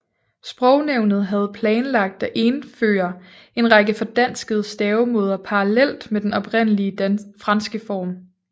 Sprognævnet havde planlagt at indføre en række fordanskede stavemåder parallelt med den oprindelige franske form